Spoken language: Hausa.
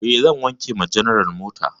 E, zan wanke wa general mota.